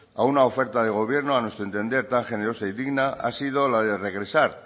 a una oferta de gobierno a nuestro entender tan generosa y digna ha sido la de regresar